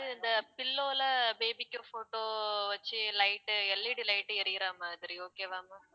அது இந்த pillow ல baby க்கு photo வச்சு light உ LED light உ எரியிற மாதிரி okay வா ma'am